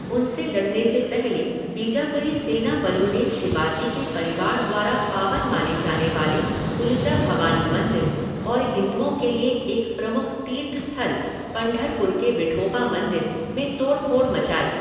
उनसे लड़ने से पहले बीजापुरी सेना बलों ने शिवाजी के परिवार द्वारा पावन माने जाने वाले तुलजा भवानी मंदिर और हिंदुओं के लिए एक प्रमुख तीर्थ स्थल, पंढरपुर के विठोबा मंदिर, में तोड़ फोड़ मचाई।